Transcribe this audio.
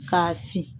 K'a si